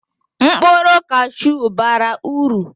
mkpụrụ cashew bara uru